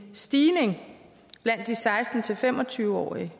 stigning blandt de seksten til fem og tyve årige